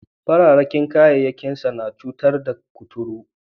Fararen kyankyasai na sa cutar kuturu